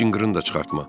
Heç cınqırın da çıxartma.